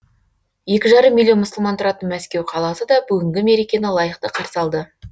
екі жарым миллион мұсылман тұратын мәскеу қаласы да бүгінгі мерекені лайықты қарсы алды